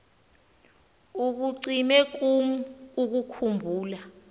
ikucime kum ukukhumbula